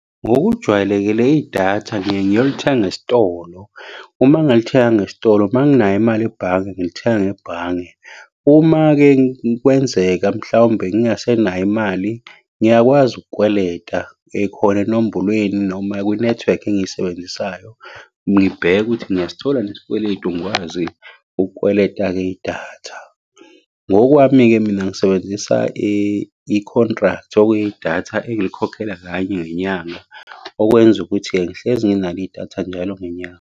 Ngokujwayelekile idatha ngiyeke ngiyolithenga esitolo. Uma ngingalithenganga esitolo uma nginayo imali ebhange ngilithenga ngebhange. Uma-ke kwenzeka mhlawumbe ngingasenayo imali, ngiyakwazi ukukweleta ekhona enombolweni noma kwinethiwekhi engiyisebenzisayo. Ngibheke ukuthi ngiyasithola yini isikweletu ngikwazi ukukweleta-ke idatha. Ngokwami-ke mina ngisebenzisa i-contract, okuyidatha engilikhokhela kanye ngenyanga. Okwenza ukuthi-ke ngihlezi nginalo idatha njalo ngenyanga.